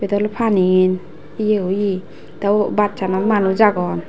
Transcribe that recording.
el paniyen eya oye te o bassanot manus agon.